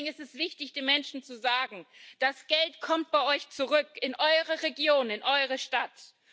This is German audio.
Deswegen ist es wichtig, den Menschen zu sagen Das Geld kommt zurück in eure Region, in eure Stadt.